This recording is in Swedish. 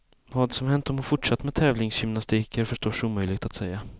Vad som hänt om hon fortsatt med tävlingsgymnastik är förstås omöjligt att säga.